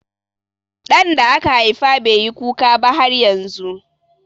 Ɗan da aka haifa bai yi kuka ba har yanzu.